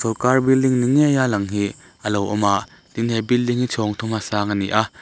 sawrkar building ni ngei a lang ni hi a lo awm a tin he building hi chhawng thuma sang a ni a.